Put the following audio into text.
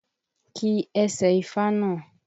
Ki ẹsẹ ifá náà!